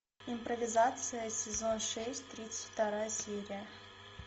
импровизация сезон шесть тридцать вторая серия